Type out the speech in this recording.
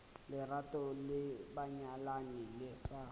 lerato la banyalani le sa